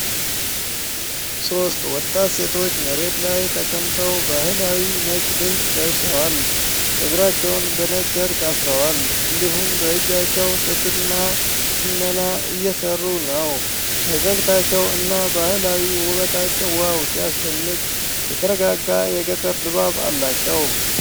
ሦስት ወጣት ሴቶች መሬት ላይ ተቀምጠው ባህላዊ ነጭ ልብስ ለብሰዋል። ፀጉራቸውን በነጭ ጨርቅ አስረዋል፣ እንዲሁም በእጃቸው ጥጥ እና ሽመና እየሰሩ ነው። ፈገግታቸው እና ባህላዊ ውበታቸው 'ዋው ሲያስደንቅ' ። የተረጋጋ የገጠር ድባብ አላቸው።